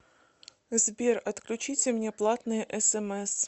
сбер отключите мне платные смс